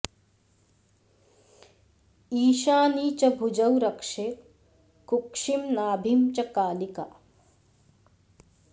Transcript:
ईशानी च भुजौ रक्षेत् कुक्षिं नाभिं च कालिका